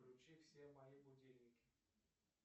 включи все мои будильники